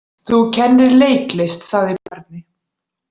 Þú kennir leiklist, sagði Bjarni.